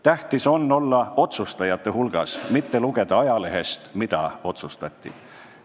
Tähtis on olla otsustajate hulgas, mitte lugeda ajalehest, mida otsustati.